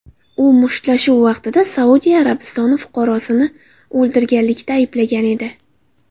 U mushtlashuv vaqtida Saudiya Arabistoni fuqarosini o‘ldirganlikda ayblangan edi.